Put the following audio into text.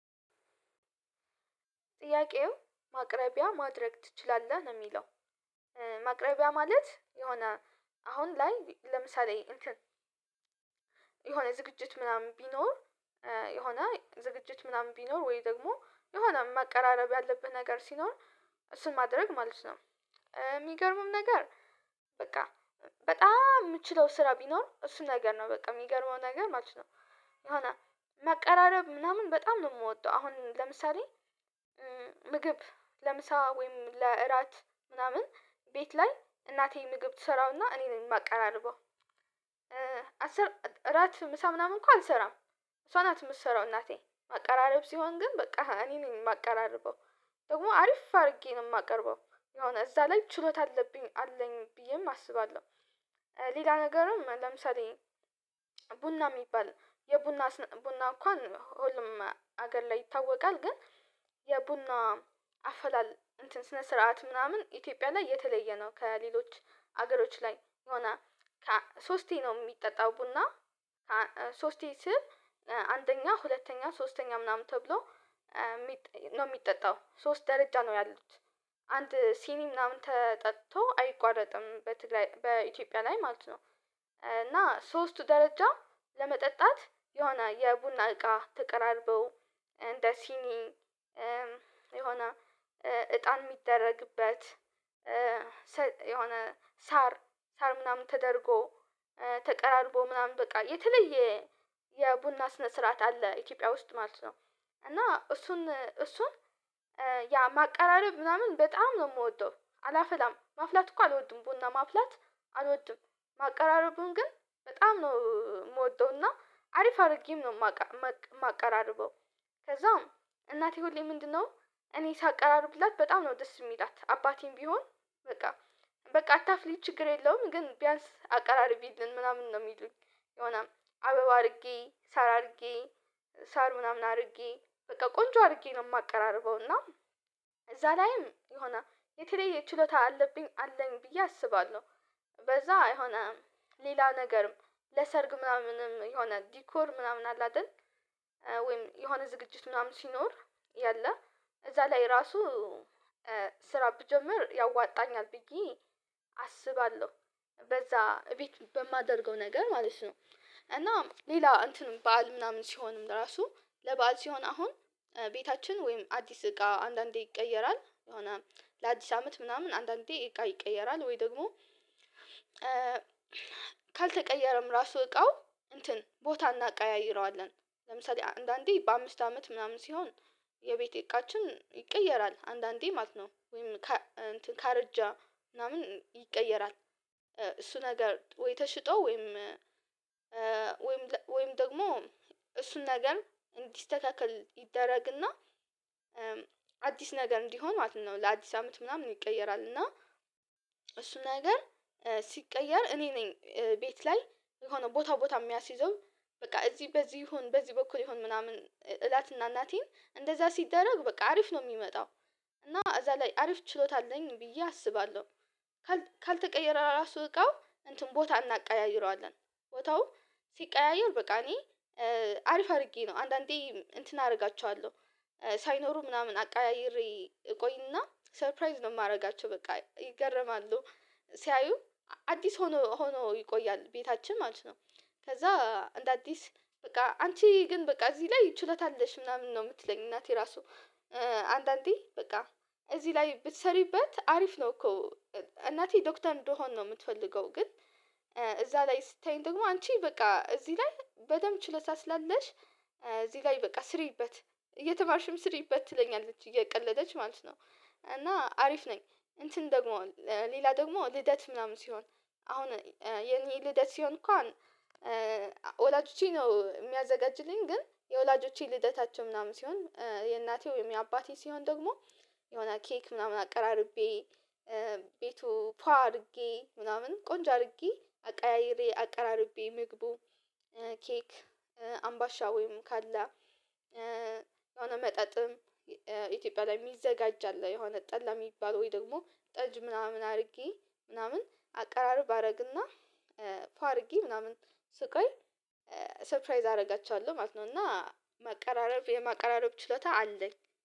ጥያቄው ማቅረቢያ ማድረግ ትችላለህ ነው የሚለው? ማቅረቢያ ማለት የሆነ አሁን ላይ ለምሳሌ የሆነ ዝግጅት ምናምን ቢኖር የሆነ ዝግጅት ምናምን ቢኖር ወይ ደግሞ የሆነ መቀራረብ ያለብህ ነገር ሲኖር እሱን ማድረግ ማለት ነው። የሚገርምም ነገር በቃ በጣም የምችለው ስራ ቢኖር እሱን ነገር ነው በቃ የሚገርመው ነገር ማለት ነው። የሆነ መቀራረብ ምናምን በጣም ነው የምወደው አሁን ለምሳሌ ምግብ ለምሳ ወይም ለእራት ምናምን ቤት ላይ እናቴ ምግብ ትሰራና እኔ ነኝ የማቀራርበው። እራት ምሳ ምናምን እንኳን አልሰራም እሷ ናት የምትሰራው እናቴ ማቀራረብ ሲሆን ግን በቃ እኔ ነኝ የማቀራርበው ደግሞ አሪፍ አድርጌ ነው የማቀርበው የሆነ እዛ ላይ ችሎታ አለኝ ብዬም አስባለሁ። ሌላ ነገርም ለምሳሌ ቡና የሚባል የቡና ቡና እንኳን ሁሉም ሀገር ላይ ይታወቃል ግን የቡና አፈላል ስነ ስርዓት ምናምን ኢትዮጵያ ላይ የተለየ ነው ከሌሎች ሀገሮች ላይ ሶስቴ ነው የሚጠጣው ቡና። ሶስቴ ስል አንደኛ ሁለተኛ ሶስተኛ ምናምን ተብሎ አስር እራት ምሳ ምናምን እኮ አልሰራም እሷ ናት የምትሰራው እናቴ ማቀራረብ ሲሆን ግን በቃ እኔ ነኝ የማቀራርበው ደግሞ አሪፍ አድርጌ ነው የማቀርበው የሆነ እዛ ላይ ችሎታ አለብኝ አለኝ ብዬም አስባለሁ ሌላ ነገርም ለምሳሌ አንድ ሲኒ ምናምን ተጠጥቶ አይቋረጥም በትግል በኢትዮጵያ ላይ ማለት ነው። እና ሶስቱ ደረጃ ለመጠጣት የሆነ የቡና እቃ ተቀራርበው እንደ ሲኒ የሆነ እጣን የሚደረግበት የሆነ ሳር ሳር ምናምን ተደርጎ ተቀራርቦ ምናምን በቃ የተለየ የቡና ስነ ስርዓት አለ ኢትዮጵያ ውስጥ ማለት ነው። እና እሱን እሱን ያ ማቀራረብ ምናምን በጣም ነው ምወደው አላፈላም ማፍላት እኮ አልወድም ቡና ማፍላት አልወድም ማቀራረቡን ግን በጣም ነው የምወደውና አሪፍ አድርጌም ነው የማቀራርበው። ከዛም እናቴ ሁሌ ምንድነው እኔ ሳቀራርብላት በጣም ነው ደስ የምላት አባቴም ቢሆን በቃ በቃ አታፍሊ ችግር የለውም ግን ቢያንስ አቀራርቢልን ምናምን ነው የሚሉኝ። የሆነ አበባ አድርጌ ሳር አድርጌ ሳር ምናምን አድርጌ በቃ ቆንጆ አድርጌ ነው የማቀራርበው እና እዛ ላይም የሆነ የተለየ ችሎታ አለብኝ አለኝ ብዬ አስባለሁ በዛ የሆነ ሌላ ነገርም ለሰርግ ምናምንም የሆነ ዲኮር ምናምን አለ አይደል? ወይም የሆነ ዝግጅት ምናምን ሲኖር ያለ እዛ ላይ ራሱ ስራ ብጀምር ያዋጣኛል ብዬ አስባለሁ በዛ እቤት በማደርገው ነገር ማለት ነው። እና ሌላ እንትን በዓል ምናምን ሲሆንም እራሱ ለበአል ሲሆን አሁን ቤታችን ወይም አዲስ እቃ አንዳንዴ ይቀየራል የሆነ ለአዲስ አመት ምናምን አንዳንዴ እቃ ይቀየራል ወይ ደግሞ ካልተቀየረም ራሱ እቃው እንትን ቦታ እናቀያይረዋለን ለምሳሌ አንዳንዴ በአምስት አመት ምናምን ሲሆን የቤቴ እቃችን ይቀየራል አንዳንዴ ማለት ነው ወይም ካርጃ ምናምን ይቀየራል። እሱ ነገር ወይ ተሽጦ ወይም ወይም ወይም ደግሞ እሱን ነገር እንዲስተካከል ይደረግና አዲስ ነገር እንዲሆን ማለት ነው። ለአዲስ አመት ምናምን ይቀየራል እና እሱ ነገር ሲቀየር እኔ ነኝ ቤት ላይ የሆነ ቦታ ቦታ የሚያስይዘው በቃ እዚህ በዚህ ይሁን በዚህ በኩል ይሁን ምናምን እላትና እናቴን እንደዛ ሲደረግ በቃ አሪፍ ነው የሚመጣው እና እዛ ላይ አሪፍ ችሎታ አለኝ ብዬ አስባለሁ። ካልተቀየረ ራሱ እቃው እንትን ቦታ እናቀያይረዋለን ቦታው ሲቀያየር በቃ እኔ አሪፍ አድርጌ ነው አንዳንዴ እንትን አደርጋቸዋለሁ ሳይኖሩ ምናምን አቃይሬ እቆይና ሰርፕራይዝ ነው የማደርጋቸው በቃ ይገረማሉ ሲያዩ አዲስ ሆኖ ሆኖ ይቆያል ቤታችን ማለት ነው። ከዛ እንደ አዲስ በቃ አንቺ ግን በቃ እዚህ ላይ ችሎታ አለሽ ምናምን ነው የምትለኝ እናቴ ራሱ አንዳንዴ በቃ እዚህ ላይ ብትሰሪበት አሪፍ ነው እኮ። እናቴ ዶክተር እንደሆን ነው የምትፈልገው ግን እዛ ላይ ስታይ ደግሞ አንቺ በቃ እዚህ ላይ በደንብ ችሎታ ስላለሽ እዚህ ላይ በቃ ስሪበት እየተማርሽም ስሪበት ትለኛለች እየቀለደች ማለት ነው። እና አሪፍ ነኝ እንትን ደግሞ ሌላ ደግሞ ልደት ምናምን ሲሆን አሁን የኔ ልደት ሲሆን እንኳን ወላጆቼ ነው የሚያዘጋጅልኝ ግን የወላጆቼ ልደታቸው ምናምን ሲሆን የእናቴው የአባቴ ሲሆን ደግሞ የሆነ ኬክ ምናምን አቀራርቤ ቤቱ ፏ አድርጌ ምናምን ቆንጆ አድርጌ አቀያይሬ አቀራርቤ ምግቡ ኬክ አምባሻ ወይም ካለ አሁን መጠጥም ኢትዮጵያ ላይ የሚዘጋጃለህ የሆነ ጠላ የሚባል ወይ ደግሞ ጠጅ ምናምን አድርጌ ምናምን አቀራረብ አደርግና ፏ አርጌ ምናምን ስቆይ ሰርፕራይዝ አደርጋቸዋለሁ ማለት ነው። እና መቀራረብ የማቀራረብ ችሎታ አለኝ